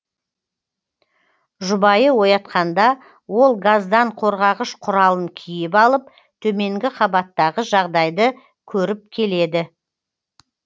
жұбайы оятқанда ол газдан қорғағыш құралын киіп алып төменгі қабаттағы жағдайды көріп келеді